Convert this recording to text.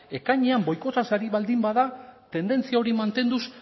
ekainean boikotaz ari baldin bada tendentzia hori mantenduz